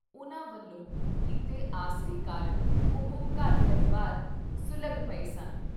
ਉਨ੍ਹਾਂ ਵੱਲੋਂ ਕੀਤੇ ਆਸਰੇ ਕਾਰਨ ਉਹ ਘਰ-ਪਰਿਵਾਰ ਸੁਲ਼ਘ-ਪਏ ਸਨ।